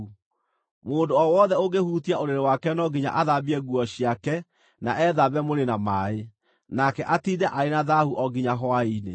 Mũndũ o wothe ũngĩhutia ũrĩrĩ wake no nginya athambie nguo ciake na ethambe mwĩrĩ na maaĩ, nake atiinde arĩ na thaahu o nginya hwaĩ-inĩ.